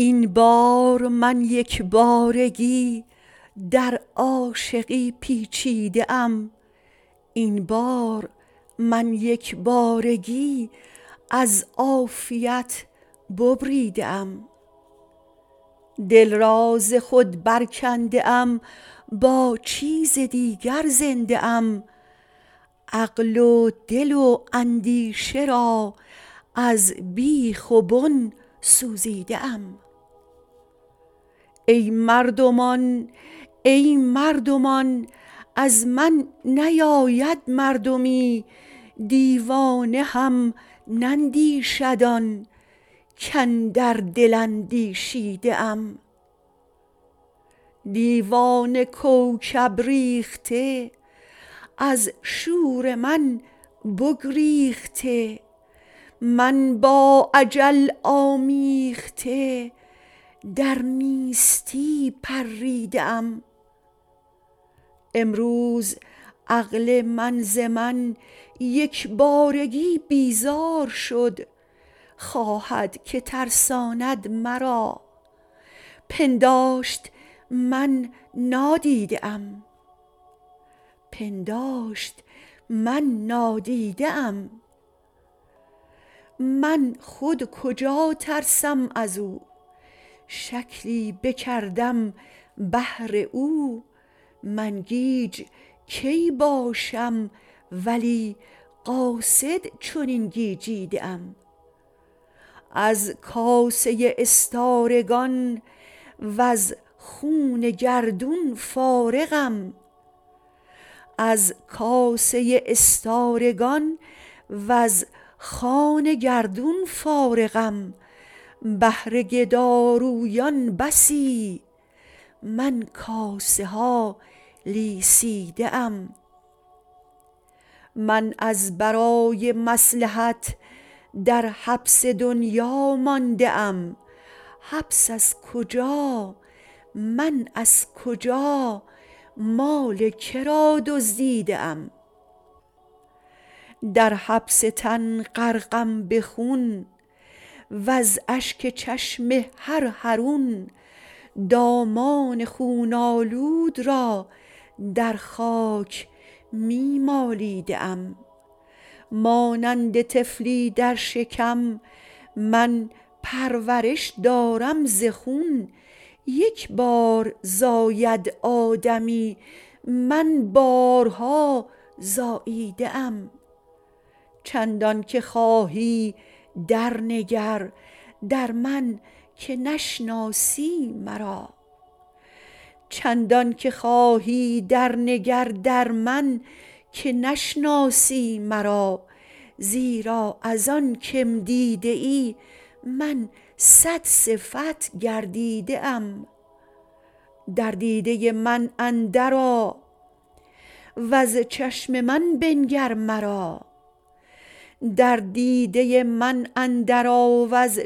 این بار من یک بارگی در عاشقی پیچیده ام این بار من یک بارگی از عافیت ببریده ام دل را ز خود برکنده ام با چیز دیگر زنده ام عقل و دل و اندیشه را از بیخ و بن سوزیده ام ای مردمان ای مردمان از من نیاید مردمی دیوانه هم نندیشد آن کاندر دل اندیشیده ام دیوانه کوکب ریخته از شور من بگریخته من با اجل آمیخته در نیستی پریده ام امروز عقل من ز من یک بارگی بیزار شد خواهد که ترساند مرا پنداشت من نادیده ام من خود کجا ترسم از او شکلی بکردم بهر او من گیج کی باشم ولی قاصد چنین گیجیده ام از کاسه استارگان وز خوان گردون فارغم بهر گدارویان بسی من کاسه ها لیسیده ام من از برای مصلحت در حبس دنیا مانده ام حبس از کجا من از کجا مال که را دزدیده ام در حبس تن غرقم به خون وز اشک چشم هر حرون دامان خون آلود را در خاک می مالیده ام مانند طفلی در شکم من پرورش دارم ز خون یک بار زاید آدمی من بارها زاییده ام چندانک خواهی درنگر در من که نشناسی مرا زیرا از آن که م دیده ای من صدصفت گردیده ام در دیده من اندرآ وز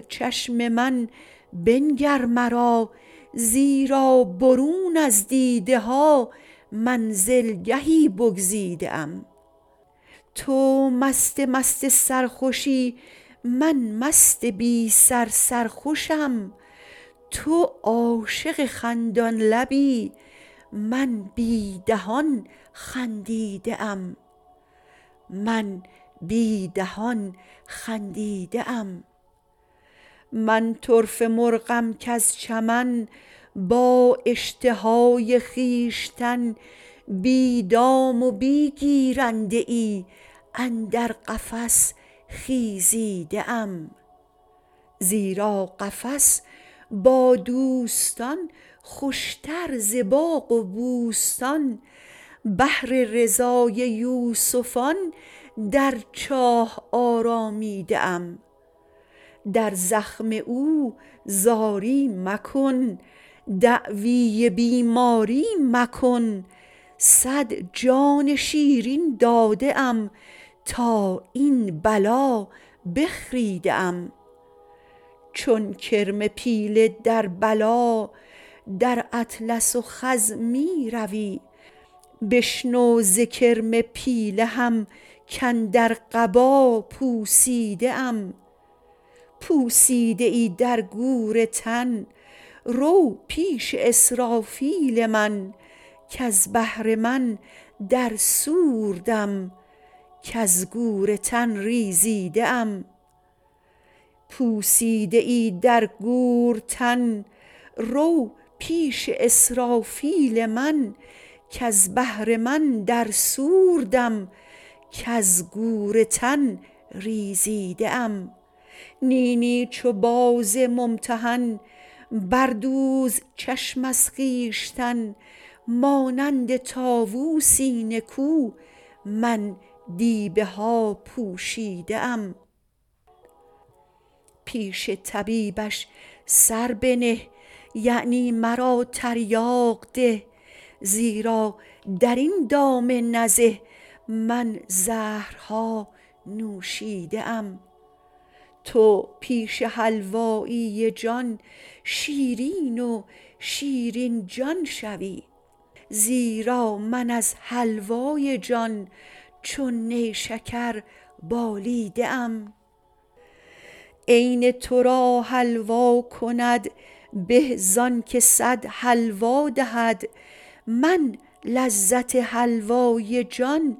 چشم من بنگر مرا زیرا برون از دیده ها منزلگهی بگزیده ام تو مست مست سرخوشی من مست بی سر سرخوشم تو عاشق خندان لبی من بی دهان خندیده ام من طرفه مرغم کز چمن با اشتهای خویشتن بی دام و بی گیرنده ای اندر قفس خیزیده ام زیرا قفس با دوستان خوشتر ز باغ و بوستان بهر رضای یوسفان در چاه آرامیده ام در زخم او زاری مکن دعوی بیماری مکن صد جان شیرین داده ام تا این بلا بخریده ام چون کرم پیله در بلا در اطلس و خز می روی بشنو ز کرم پیله هم کاندر قبا پوسیده ام پوسیده ای در گور تن رو پیش اسرافیل من کز بهر من در صور دم کز گور تن ریزیده ام نی نی چو باز ممتحن بردوز چشم از خویشتن مانند طاووسی نکو من دیبه ها پوشیده ام پیش طبیبش سر بنه یعنی مرا تریاق ده زیرا در این دام نزه من زهرها نوشیده ام تو پیش حلوایی جان شیرین و شیرین جان شوی زیرا من از حلوای جان چون نیشکر بالیده ام عین تو را حلوا کند به زانک صد حلوا دهد من لذت حلوای جان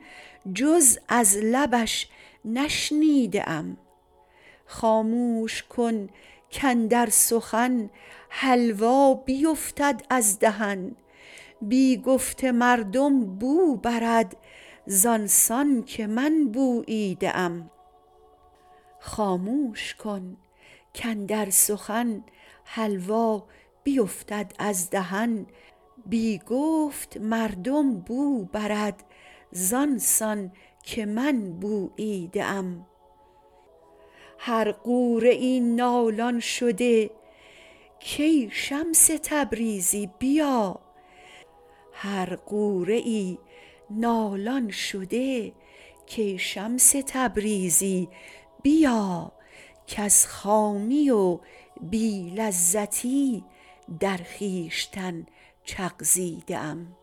جز از لبش نشنیده ام خاموش کن کاندر سخن حلوا بیفتد از دهن بی گفت مردم بو برد زان سان که من بوییده ام هر غوره ای نالان شده کای شمس تبریزی بیا کز خامی و بی لذتی در خویشتن چغزیده ام